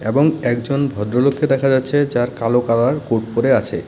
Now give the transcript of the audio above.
এবং একজন ভদ্রলোককে দেখা যাচ্ছে যার কালো কালার কোট পরে আছে।